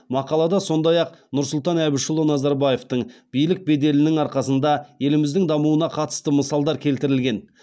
мақалада сондай ақ нұрсұлтан әбішұлы назарбаевтың биік беделінің арқасында еліміздің дамуына қатысты мысалдар келтірілген